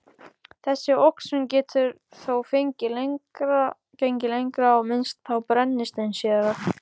Þessi oxun getur þó gengið lengra, og myndast þá brennisteinssýra